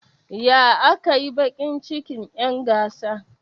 Ya aka yi baki cikin'yan gasa?